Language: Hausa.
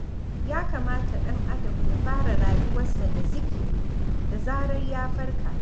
Ya kamata ɗan'adam ya fara rayuwarsa da zikiri da zarar ya farka.